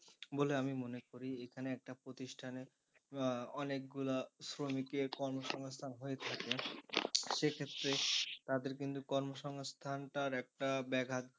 বলে আমি মনে করি এখানে একটা প্রতিষ্ঠানের অনেকগুলা শ্রমিকের কর্মসংস্থান হয়ে থাকে সে ক্ষেত্রে তাদের কিন্তু কর্মসংস্থানটার একটা ব্যাঘাত।